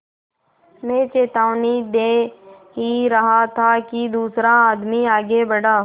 मैं चेतावनी दे ही रहा था कि दूसरा आदमी आगे बढ़ा